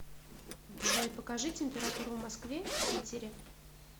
джой покажи температуру в москве в питере